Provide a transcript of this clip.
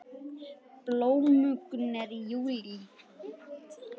Blómgun er í júlí.